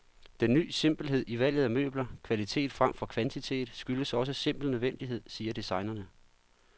Den ny simpelhed i valget af møbler, kvalitet fremfor kvantitet, skyldes også simpel nødvendighed, siger designerne.